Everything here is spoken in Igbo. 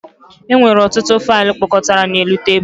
E nwere ọtụtụ faịlụ kpọkọtara n'elu tebụl